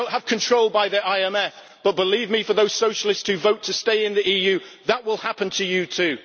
We do not have control by the IMF, but believe me, to those Socialists who vote to stay in the EU, that will happen to you, too.